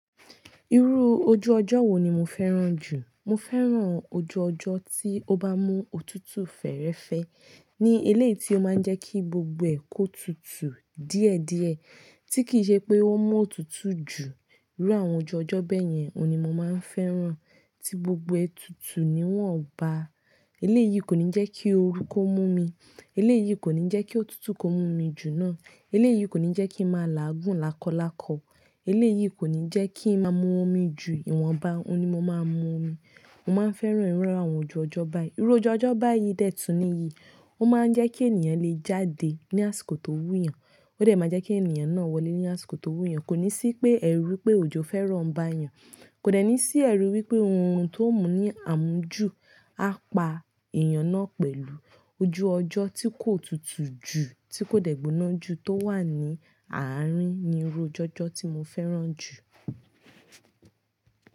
Irú ojú ọjọ́ wo ni mo fẹ́ràn jù? Mo fẹ́ràn ojú ọjọ́ tí ó bá mú òtútù fẹ́rẹ́fẹ́, ní eléyìí tí ó máa ń jẹ́ kí gbogbo ẹ̀ kó tutù díẹ̀díẹ̀, tí kì í ṣe pé ó mú òtútù jù. Irú àwọn ojú ọjọ́ bẹ́ẹ̀ yẹn ni mo máa ń fẹ́ràn, tí gbogbo ẹ̀ tutù ni wọ́n bá. Eléyìí kò ní jẹ́ kí ooru kó mú mi, eléyìí kò ní jẹ́ kí òtútù kó mú mi jù náà, eléyìí kò ní jẹ́ kí mo máa làágùn lákọ̀lákọ̀, eléyìí kò ní jẹ́ kí ó máa mú omi ju ìwọ̀n bá ni mo máa mú omi. Mo máa ń fẹ́ràn irú àwọn ojú ọjọ́ báyìí. Irú ojú ọjọ́ báyìí dè tún níyì, ó máa ń jẹ́ kí ènìyàn lè jáde ní àsìkò tó wúyàn, ó dẹ̀ máa jẹ́ kí ènìyàn náà wọlé ní àsìkò tó wúyàn, kò ní sí pé ẹ èrù pé òjò fẹ́ràn bá yàn, kò dẹ̀ ní sí èru wí pé ohun tó mú ní àmúju á pa èèyàn náà pẹ̀lú. Ojú ọjọ́ tí kò tutù jù, tí kò dẹ̀gbóná jù tó wà ní àárín ni irú ọjọ́ tí mo fẹ́ràn jù.